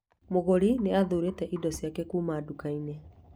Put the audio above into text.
Mũgũri nĩ athuurĩte indo ciake kuuma nduka-inĩ